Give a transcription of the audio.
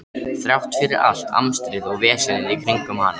Þrátt fyrir allt amstrið og vesenið í kringum hana.